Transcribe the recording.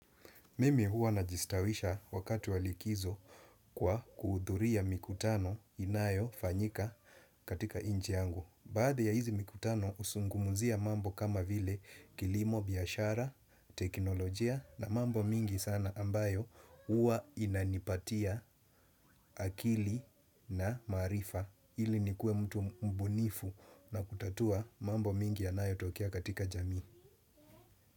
Mimi huwa najistawisha wakati wa likizo kwa kuhudhuria mikutano inayofanyika katika inchi yangu. Baadhi ya hizi mikutano huzungumuzia mambo kama vile kilimo, biashara, teknolojia na mambo mingi sana ambayo huwa inanipatia akili na maarifa ili nikuwe mtu mbunifu na kutatua mambo mingi yanayotokea katika jamii.